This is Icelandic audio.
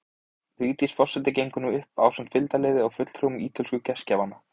Vigdís forseti gengur nú upp ásamt fylgdarliði og fulltrúum ítölsku gestgjafanna.